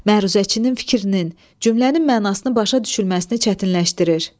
Məruzəçinin fikrinin, cümlənin mənasını başa düşülməsini çətinləşdirir.